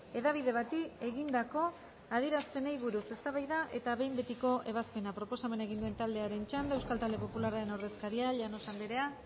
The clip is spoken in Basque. hedabide bati egindako adierazpenei buruz eztabaida eta behin betiko ebazpena proposamena egin duen taldearen txanda euskal talde popularraren ordezkaria llanos andrea